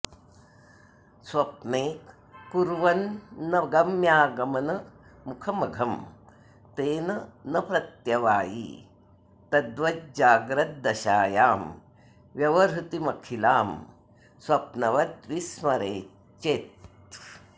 स्वप्ने कुर्वन्नगम्यागमनमुखमघं तेन न प्रत्यवायी तद्वज्जाग्रद्दशायां व्यवहृतिमखिलां स्वप्नवद्विस्मरेच्चेत्